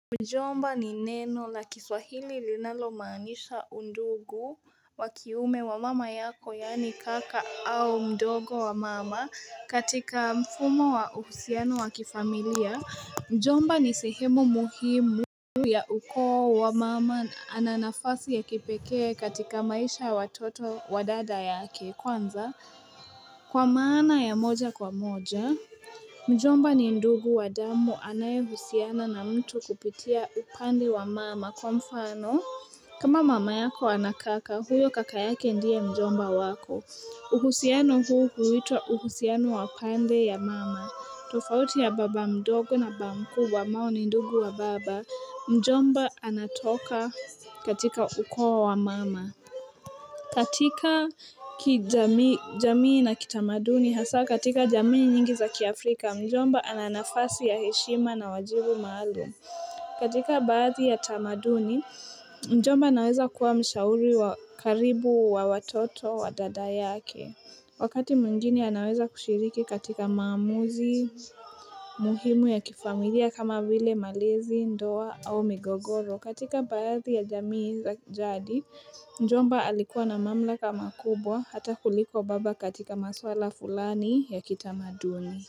Mjomba ni neno la kiswahili linalomanisha ndugu wakiume wa mama yako yani kaka au mdogo wa mama katika mfumo wa uhusiano wa kifamilia mjomba ni sehemu muhimu ya uko wa mama ananafasi ya kipekee katika maisha ya watoto wa dada ya kwanza kwa maana ya moja kwa moja Mjomba ni ndugu wa damu anae husiana na mtu kupitia upande wa mama kwa mfano kama mama yako anakaka huyo kakayake ndio mjomba wako uhusiano huu huitwa uhusiano wa pande ya mama tofauti ya baba mdogo na ba mkubwa ambao ni ndugu wa baba Mjomba anatoka katika ukowa wa mama katika kijamii na kitamaduni hasa katika jamii nyingi za kiafrika mjomba ananafasi ya heshima na wajibu maalum katika baadhi ya tamaduni mjomba anaweza kuwa mshauri wa karibu wa watoto wa dada yake Wakati muinginie anaweza kushiriki katika maamuzi muhimu ya kifamilia kama vile malezi ndoa au migogoro katika badhi ya jamii za jadi, mjomba alikuwa na mamla ka makubwa hata kuliko baba katika maswala fulani ya kitamaduni.